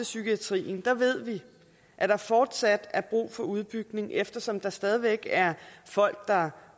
psykiatrien ved vi at der fortsat er brug for udbygning eftersom der stadig væk er folk der